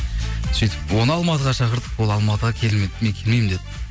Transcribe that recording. сөйтіп оны алматыға шақырдық ол алматыға келмеді мен келмеймін деді